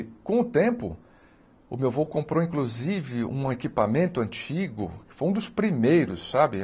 E, com o tempo, o meu vô comprou, inclusive, um equipamento antigo, que foi um dos primeiros, sabe?